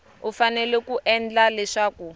u fanele ku endla leswaku